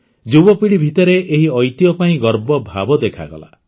ଯୁବପିଢ଼ି ଭିତରେ ଏହି ଐତିହ୍ୟ ପାଇଁ ଗର୍ବ ଭାବ ଦେଖାଗଲା